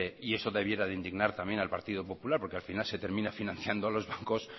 y eso debiera de indignar también al partido popular porque al final se termina financiando a los bancos